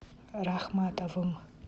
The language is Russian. рахматовым